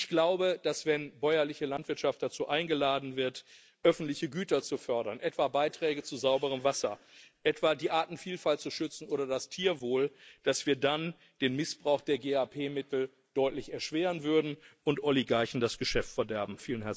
Ich glaube, dass, wenn bäuerliche Landwirtschaft dazu eingeladen wird, öffentliche Güter zu fördern etwa Beiträge zu sauberem Wasser, etwa die Artenvielfalt zu schützen oder das Tierwohl dass wir dann den Missbrauch der GAP Mittel deutlich erschweren würden und Oligarchen das Geschäft verderben.